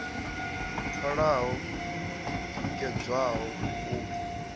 pfalaho i tikedzwaho u bva